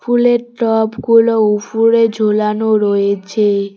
ফুলের টবগুলো উফরে ঝোলানো রয়েছে।